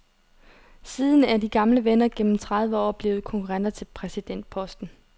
Siden er de gamle venner gennem tredive år blevet konkurrenter til præsidentposten.